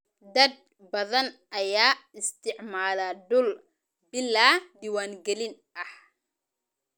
Dad badan ayaa isticmaala dhul bilaa diiwaangalin ah.